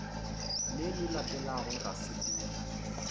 le le latelago ra sepela